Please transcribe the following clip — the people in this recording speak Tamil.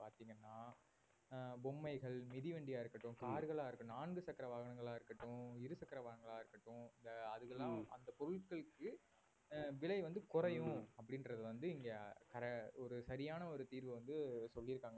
அஹ் பொம்மைகள், மிதிவண்டியா இருக்கட்டும் car களா இரு~ நான்கு சக்கர வாகனங்களா இருக்கட்டும், இருசக்கர வாகனங்களா இருக்கட்டும் அதுக்கெல்லாம் அந்த பொருட்களுக்கு அஹ் விலை வந்து குறையும் அப்படின்றது வந்து இங்க சர~ ஒரு சரியான ஒரு தீர்வை வந்து சொல்லியிருக்காங்க